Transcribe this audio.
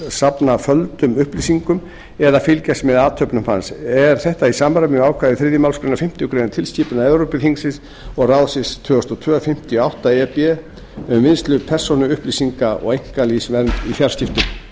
safna földum upplýsingum eða fylgjast með athöfnum hans er þetta í samræmi við ákvæði þriðju málsgrein fimmtu grein tilskipunar evrópuþingsins og ráðsins tvö þúsund og tvö fimmtíu og átta e b um vinnslu persónuupplýsinga og einkalífsvernd í fjarskiptum